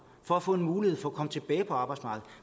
for at få en mulighed for at komme tilbage på arbejdsmarkedet